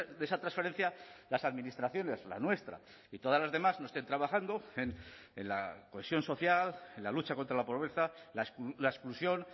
de esa transferencia las administraciones la nuestra y todas las demás no estén trabajando en la cohesión social en la lucha contra la pobreza la exclusión